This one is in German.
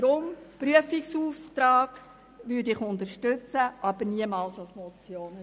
Aus diesem Grund unterstütze ich den Prüfungsauftrag, aber niemals die Motion.